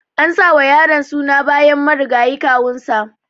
An sa wa yaron suna bayan marigayi kawun sa.